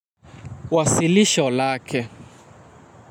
Wasilisho lake.